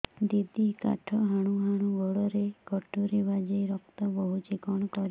ଦିଦି କାଠ ହାଣୁ ହାଣୁ ଗୋଡରେ କଟୁରୀ ବାଜି ରକ୍ତ ବୋହୁଛି କଣ କରିବି